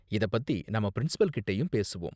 இத பத்தி நாம பிரின்சிபல் கிட்டயும் பேசுவோம்.